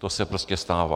To se prostě stává.